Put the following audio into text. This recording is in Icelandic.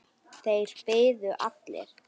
Þeir biðu allir.